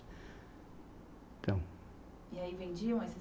Então. E aí vendiam esses